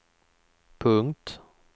punkt